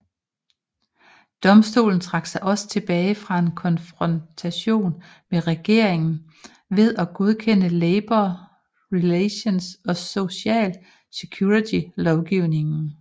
Domstolen trak sig også tilbage fra en konfrontation med regeringen ved at godkende Labor Relations og Social Security lovgivningen